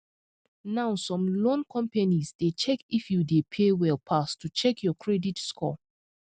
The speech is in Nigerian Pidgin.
now some loan loan companies dey check if you dey pay well pass to check your credit score